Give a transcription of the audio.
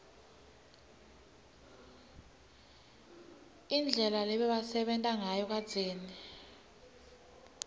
indlela lebebasebenta ngayo kadzeni